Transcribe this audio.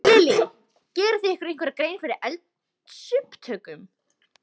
Lillý: Gerið þið ykkur einhverja grein fyrir eldsupptökum?